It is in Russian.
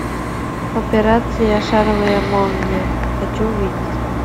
операция шаровая молния хочу увидеть